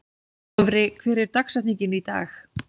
Dofri, hver er dagsetningin í dag?